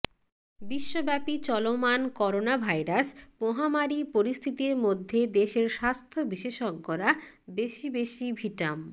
বিশ্বব্যাপী চলমান করোনাভাইরাস মহামারি পরিস্থিতির মধ্যে দেশের স্বাস্থ্য বিশেষজ্ঞরা বেশি বেশি ভিটাম